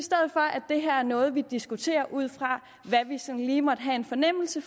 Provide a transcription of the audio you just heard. det her er noget vi diskuterer ud fra hvad vi sådan lige måtte have en fornemmelse